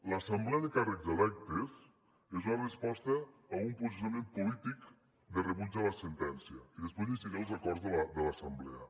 l’assemblea de càrrecs electes és la resposta a un posicionament polític de rebuig a la sentència i després llegiré els acords de l’assemblea